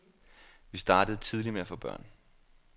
Vi startede tidligt med at få børn.